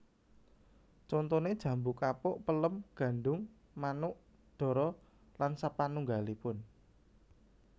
Contoné jambu kapuk pelem gadhung manuk dara lsp